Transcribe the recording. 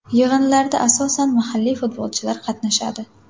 Yig‘inlarda asosan mahalliy futbolchilar qatnashadi.